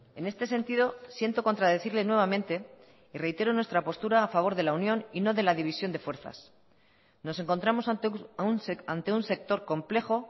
en este sentido siento contradecirle nuevamente y reitero nuestra postura a favor de la unión y no de la división de fuerzas nos encontramos ante un sector complejo